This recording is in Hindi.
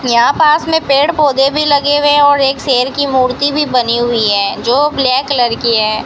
यहां पास में पेड़ पौधे भी लगे हुए हैं और एक शेर की मूर्ति भी बनी हुई हैं जो ब्लैक कलर की है।